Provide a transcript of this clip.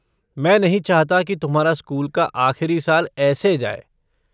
मैं नहीं चाहता कि तुम्हारा स्कूल का आख़िरी साल ऐसे जाए।